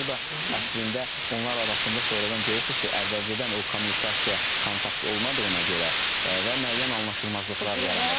Bu da əslində onlar arasında sonradan görürsünüz ki, əvvəlcədən o kommunikasiya, kontakt olmadığına görə və müəyyən anlaşılmazlıqlar yaranır.